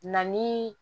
Na ni